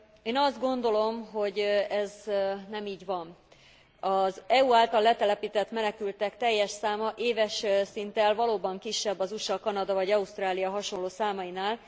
Én azt gondolom, hogy ez nem így van. Az EU által letelepített menekültek teljes száma éves szinten valóban kisebb az USA, Kanada, vagy Ausztrália hasonló számainál.